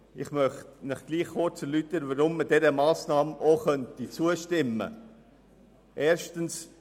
Ich möchte Ihnen erläutern, weshalb man dieser Massnahme auch zustimmen könnte.